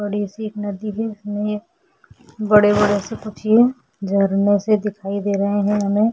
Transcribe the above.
बड़ी सी एक नदी है इसमें बड़े बड़े से कुछ ये झरने से दिखाई दे रहे है हमें।